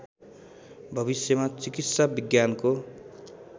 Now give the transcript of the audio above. भविष्यमा चिकित्सा विज्ञानको